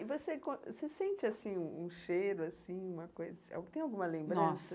E você você sente, assim, um um cheiro, assim, uma coisa... Tem alguma lembrança? Nossa